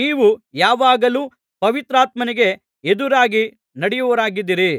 ನೀವೂ ಯಾವಾಗಲೂ ಪವಿತ್ರಾತ್ಮನಿಗೆ ಎದುರಾಗಿ ನಡೆಯುವವರಾಗಿದ್ದೀರಿ